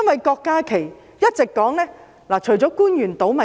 郭家麒議員一直說官員"倒米"。